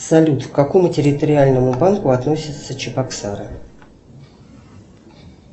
салют к какому территориальному банку относятся чебоксары